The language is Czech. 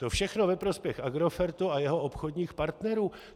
To všechno ve prospěch Agrofertu a jeho obchodních partnerů.